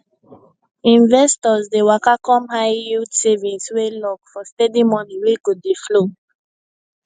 investors dey waka come highyield savings wey lock for steady money wey go dey flow